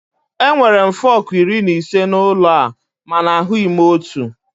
Enwere m fọkụ iri na ise n'ụlọ a mana ahụghị m otu.